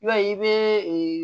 Yali i bɛ